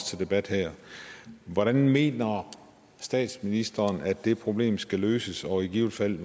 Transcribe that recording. til debat her hvordan mener statsministeren det problem skal løses og i givet fald